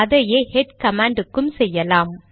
அதையே head command க்கு செய்யலாம்